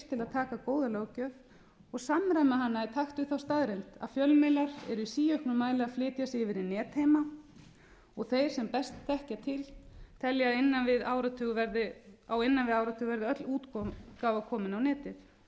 taka góða löggjöf og samræma hana í takt við þá staðreynd að fjölmiðlar eru í síauknum mæli að flytja sig yfir í netheima og þeir sem best þekkja til telja að á innan við áratug verði öll útgáfa komin á netið með því að hafa